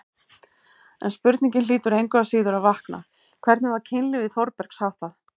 En spurningin hlýtur engu að síður að vakna: hvernig var kynlífi Þórbergs háttað?